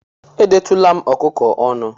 Edetụla m ọkụkọ ọnụ